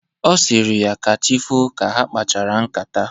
Ọ sịrị ya ka chi foo ka ha kpachara ṅkátá.